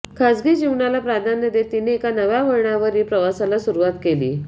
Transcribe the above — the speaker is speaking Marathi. खासगी जीवनाला प्राधान्य देत तिनं एका नव्या वळणावरील प्रवासाला सुरुवात केली